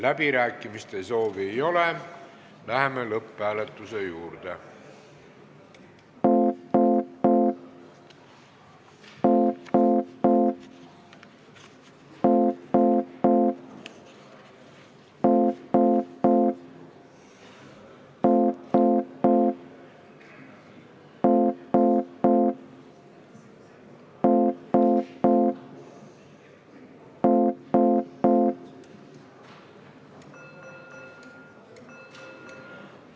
Kõnesoove ei ole, läheme lõpphääletuse juurde.